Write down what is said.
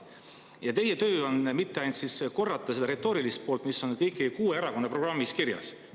Ja teie töö ei ole mitte ainult korrata seda retoorilist poolt, mis on kõigi kuue erakonna programmis kirjas.